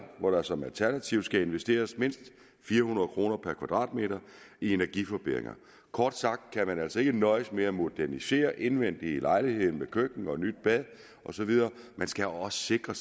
hvor der som alternativ skal investeres mindst fire hundrede kroner per kvadratmeter i energiforbedringer kort sagt kan man altså ikke nøjes med at modernisere indvendigt i lejligheden med køkken nyt bad og så videre man skal også sikre